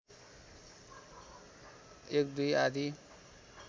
१ २ आदि